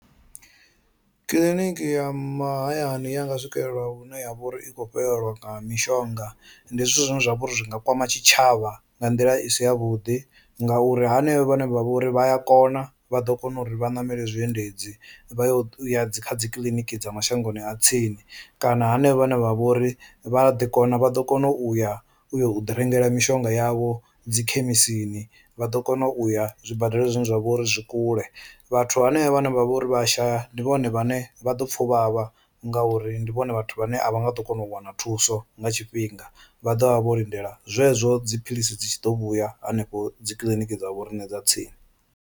Kiḽiniki ya mahayani ya nga swikelela hune ya vhori i kho fhelelwa nga mishonga ndi zwithu zwine zwa vhori zwi nga kwama tshitshavha nga nḓila i si ya vhuḓi ngauri hanevho vhane vha vhori vha ya kona vha ḓo kona uri vha ye vha namele zwiendedzi vha ye kha dzi kiḽiniki dza mashangoni a tsini, kana hanevho vhane vha vhori vha a ḓi kona vha ḓo kona u ya u yo u ḓi rengela mishonga yavho dzi khemisini, vha ḓo kona u ya zwibadela zwine zwa vha uri zwi kule. Vhathu hanevha vhane vha vha uri vha a shaya ndi vhone vhane vha ḓo pfha u vhavha ngauri ndi vhone vhathu vhane a vha nga ḓo kona u wana thuso nga tshifhinga, vha ḓovha vho lindela zwezwo dzi philisi dzi tshi ḓo vhuya hanefho dzi kiḽiniki dza vho riṋe dza tsini.